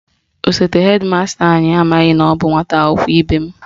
Osote hedi masta anyị amaghị na ọ bụ nwata akwụkwọ ibe m